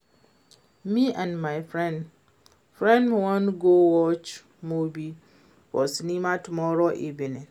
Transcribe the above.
Me and my friend friend wan go watch movie for cinema tomorrow evening